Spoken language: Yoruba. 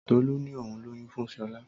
Tọlú ni ohun lóyún fún shola